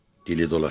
Dili dolaşdı.